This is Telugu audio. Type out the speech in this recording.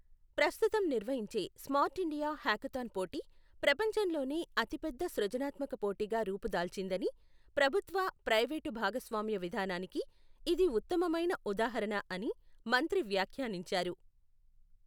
ప్రస్తుతం నిర్వహించే స్మార్టిండియా హ్యాకథాన్ పోటీ ప్రపంచంలోనే అతిపెద్ద సృజనాత్మక పోటీగా రూపుదాల్చిందని, ప్రభుత్వ, ప్రైవేటు భాగస్వామ్య విధానానికి ఇది ఉత్తమమైన ఉదాహరణ అని మంత్రి వ్యాఖ్యానించారు.